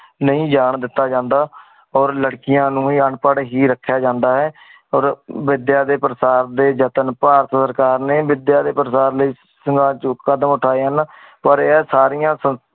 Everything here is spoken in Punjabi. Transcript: ਨੀ ਜਾਨ ਦਿਤਾ ਜਾਂਦਾ ਓਰ ਲੜਕੀਆਂ ਨੂੰ ਹੀ ਅਨਪੜ ਹੀ ਰੱਖਿਆ ਜਾਂਦਾ ਹੈ। ਵਿਦਿਆ ਦੇ ਪ੍ਰਸਾਰ ਦੇ ਜਤਨ ਭਾਰਤ ਸਰਕਾਰ ਨੇ ਵਿਦਿਆ ਦੇ ਪ੍ਰਸਾਰ ਲਯੀ ਜੋ ਕਦਮ ਉਠਾਏ ਹਨ ਪਰ ਏ ਸਾਰੀਆਂ